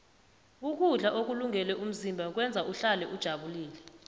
ukudla ukulungele umzimba kwenza uhlale ujabulile